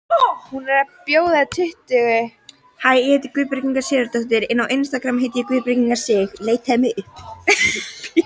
Hún er búin að bjóða tuttugu manns.